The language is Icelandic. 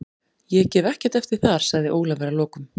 Ég gef ekkert eftir þar, sagði Ólafur að lokum.